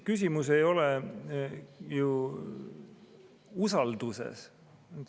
Küsimus ei ole ju usalduses.